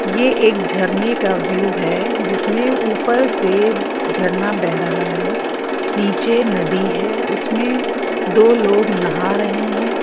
ये एक झरने का व्यू है जिसमे ऊपर से झरना बेह रहा है नीचे नदी है उसमे दो लोग नहा रहे है।